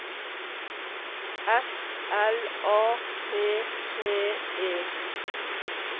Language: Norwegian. S L A P P E